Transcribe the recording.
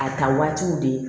A ta waatiw de